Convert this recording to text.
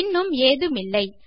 இன்னும் ஏதுமில்லை